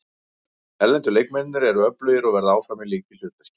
Erlendu leikmennirnir eru öflugir og verða áfram í lykilhlutverki.